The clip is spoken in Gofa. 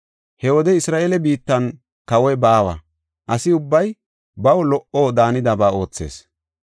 He wode Isra7eele biittan kawoy baawa; asi ubbay baw lo77o daanidaba oothees.